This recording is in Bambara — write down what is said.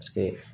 Paseke